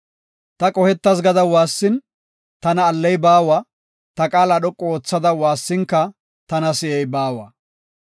Ta qohetas gada waassin, tana alley baawa; ta qaala dhoqu oothada waassinka tana si7ey baawa.